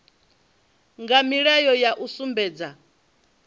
nga ndila ya u sumbedza